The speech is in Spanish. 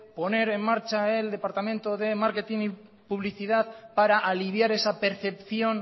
poner en marcha el departamento de marketing y publicidad para aliviar esa percepción